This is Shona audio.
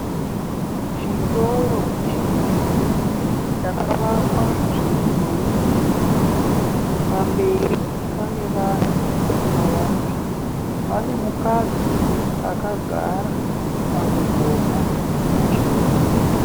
Chitoro chihombe chakavakwa zveminhurikidzwa. Pamberi pane vanhu vakawanda. Pane mukadzi akagara pamugomo mutsvuku.